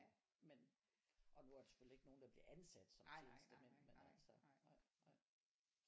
Men og nu er der selvfølgelig ikke noget der bliver ansat som tjenestemand men altså nej nej.